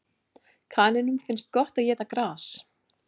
Kanínum finnst gott að éta gras.